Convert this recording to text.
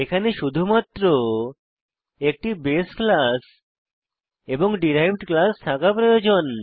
এখানে শুধুমাত্র একটি বাসে ক্লাস এবং ডিরাইভড ক্লাস থাকা প্রয়োজন